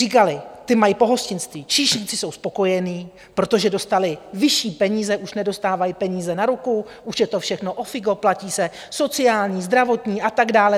Říkali - ti mají pohostinství, číšníci jsou spokojení, protože dostali vyšší peníze, už nedostávají peníze na ruku, už je to všechno ofiko, platí se sociální, zdravotní a tak dále.